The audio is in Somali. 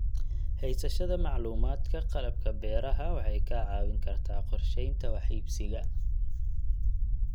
Haysashada macluumaadka qalabka beeraha waxay kaa caawin kartaa qorsheynta wax iibsiga.